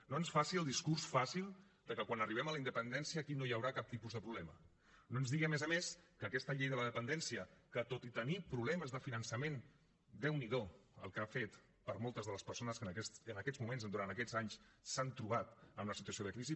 no ens faci els discurs fàcil que quan arribem a la independència aquí no hi haurà cap tipus de problema no ens digui a més a més que aquesta llei de la dependència que tot i tenir problemes de finançament déu n’hi do el que ha fet per moltes de les persones que en aquests moments durant aquests anys s’han trobat en una situació de crisi